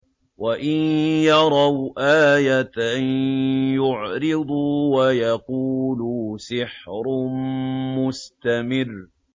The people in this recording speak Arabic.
وَإِن يَرَوْا آيَةً يُعْرِضُوا وَيَقُولُوا سِحْرٌ مُّسْتَمِرٌّ